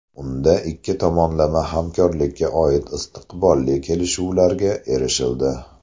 Unda ikki tomonlama hamkorlikka oid istiqbolli kelishuvlarga erishildi.